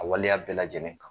A waleya bɛɛ lajɛlen kan.